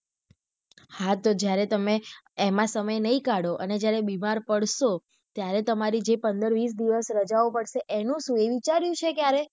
હા તો જયારે તમે એમાં સમય નહિ કાઢો અને જયારે બીમાર પાડશો ત્યારે જે તમારી પંદર વિસ દિવસ રાજા પડશે તો એનું સુ એ વિચાર્યું છે ક્યારે.